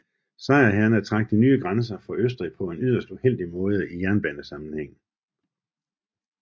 Sejrherrerne trak de nye grænser for Østrig på en yderst uheldig måde i jernbanesammenhæng